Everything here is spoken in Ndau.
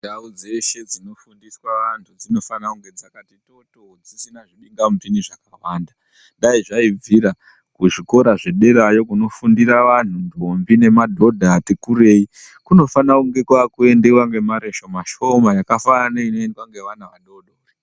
Ndau dzeshe dzinofundira vantu dzinofanira kunge dzakati toto dzisina zvimhingamupinyi zvakawanda dai zvaibvira kuzvikora zvedera kunofundira anhu ndombi nemadhodha ati kurei kunofana kiendewa nemare shoma yakafanana neinoendewa nevana adodori.